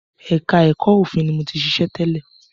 Ẹka ẹ̀kọ́ òfin ni mo ti ṣiṣẹ́ tẹ́lẹ̀.